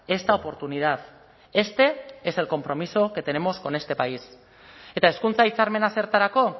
esta oportunidad este es el compromiso que tenemos con este país eta hezkuntza hitzarmena zertarako